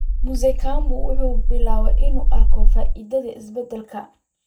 Mzee Kamau wuxuu bilaabay inuu arko faa'iidooyinka isbeddelkan.